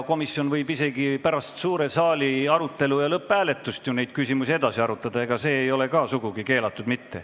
Komisjon võib isegi pärast suure saali arutelu ja lõpphääletust neid küsimusi edasi arutada, see ei ole ka sugugi keelatud.